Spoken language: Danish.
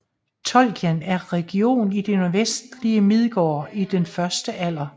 Tolkien en region i det nordvestlige Midgård i den første alder